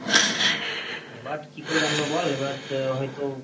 এবার কি করে জানবো বল এবার হয়তো,